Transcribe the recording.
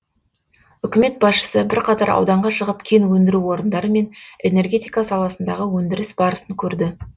үкімет басшысы бірқатар ауданға шығып кен өндіру орындары мен энергетика саласындағы өндіріс барысын көрді